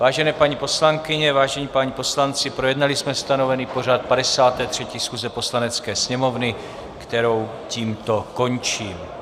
Vážené paní poslankyně, vážení páni poslanci, projednali jsme stanovený pořad 53. schůze Poslanecké sněmovny, kterou tímto končím.